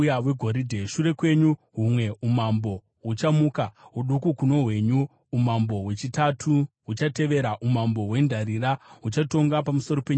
“Shure kwenyu, humwe umambo huchamuka, hudiki kuno hwenyu. Umambo hwechitatu huchatevera, umambo hwendarira, huchatonga pamusoro penyika yose.